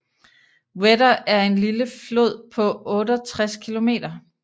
Wetter er en lille flod på 68 km